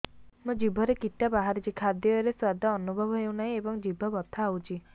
ମୋ ଜିଭରେ କିଟା ବାହାରିଛି ଖାଦ୍ଯୟରେ ସ୍ୱାଦ ଅନୁଭବ ହଉନାହିଁ ଏବଂ ଜିଭ ବଥା ହଉଛି